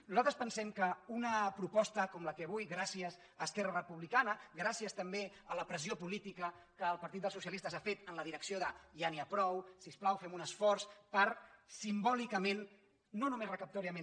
nosaltres pensem que una proposta com la que avui gràcies a esquerra republicana gràcies també a la pressió política que el partit dels socialistes ha fet en la direcció de ja n’hi ha prou si us plau fem un esforç per simbòlicament no només recaptadorament